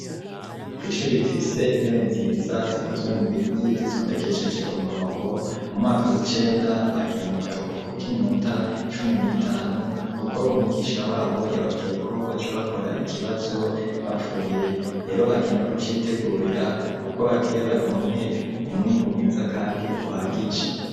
Ku ishuri rifise intebe nziza zikozwe mu biti zitondekeshejwe umurongo mu mwaka w'icenda bagiye mu karuhuko k'iminota cumi n'itanu kuko umwigisha wabo yababwiyeko baca bakora ikibazo bavuyeyo rero bagiye no kucitegurira kuko bagire baronke umwimbu mwiza kandi uhagije.